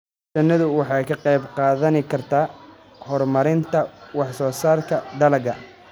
Shinnidu waxay ka qayb qaadan kartaa horumarinta wax soo saarka dalagga.